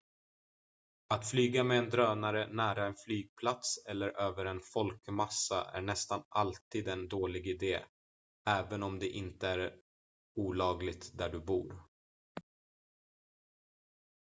att flyga med en drönare nära en flygplats eller över en folkmassa är nästan alltid en dålig idé även om det inte är olagligt där du bor